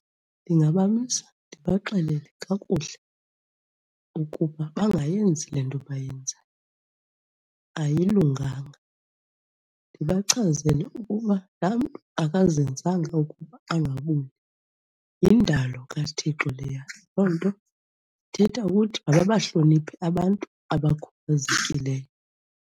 Ndingabamisa ndibaxelele kakuhle ukuba bangayenzi le nto bayenzayo, ayilunganga. Ndibachazele ukuba la mntu akazenzanga ukuba angabuzi, yindalo kaThixo leya loo nto ithetha ukuthi mababahloniphe abantu abakhubazekileyo.